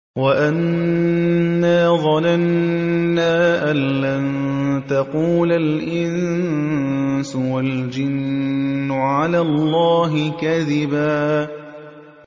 وَأَنَّا ظَنَنَّا أَن لَّن تَقُولَ الْإِنسُ وَالْجِنُّ عَلَى اللَّهِ كَذِبًا